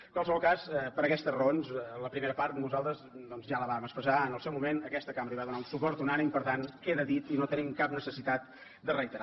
en qualsevol cas per aquestes raons la primera part nosaltres ja la vam expressar en el seu moment aquesta cambra hi va donar un suport unànime i per tant queda dit i no tenim cap necessitat de reiterar